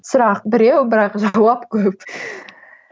сұрақ біреу бірақ жауап көп